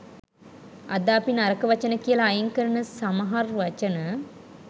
අද අපි නරක වචන කියලා අයින් කරන සමහර් වචන